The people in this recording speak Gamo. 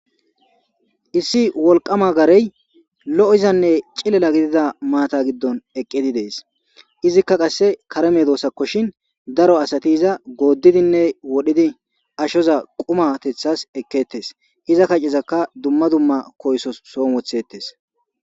Issi wolqama garey lo'izanne cilala gidida maata giddon eqqidi dees izikka qasse kareme doosakkoshin daro asatiza gooddidinne wodhidi ashoza qumatethas eketes iza kaccezaka dumma dumma koysso soo wothettes.